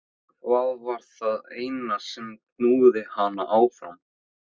Hvað var það sem knúði hana áfram?